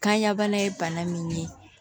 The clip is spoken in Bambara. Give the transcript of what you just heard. Kan ya bana ye bana min ye